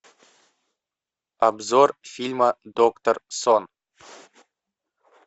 обзор фильма доктор сон